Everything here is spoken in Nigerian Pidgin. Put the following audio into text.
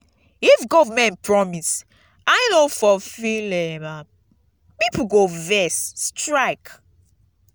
if government promise and e no fulfill um am pipo go vex strike.